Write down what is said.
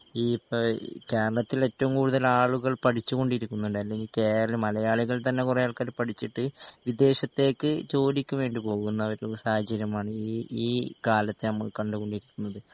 ഈപ്പോ ഇഹ് കേരളത്തിലേറ്റവും കൂടുതല് ആളുകൾ പഠിച്ചോണ്ടിരിക്കുന്നുണ്ട് അല്ലെങ്കികേരള മലയാളികൾതന്നെ കുറെ ആൾക്കാര് പഠിച്ചിട്ട് വിദേശത്തേക്കു ജോലിക്കുവേണ്ടി പോകുന്നൊരു സാഹചര്യമാണ് ഈ ഈ കാലത്ത് നമ്മള് കണ്ടുകൊണ്ടിരിക്കുന്നത്.